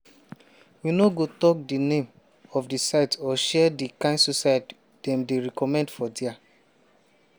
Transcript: we no go tok di name of di site or share di kain suicide dem dey recommend for dia.